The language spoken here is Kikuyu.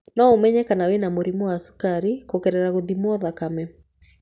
No ũmenye kana wĩna mũrimũ wa cukari kũgerera gũthimwo thakame.